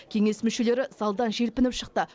кеңес мүшелері залдан желпініп шықты